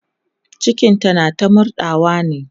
cikinta na ta murɗawa ne